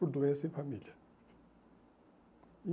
Por doença em família.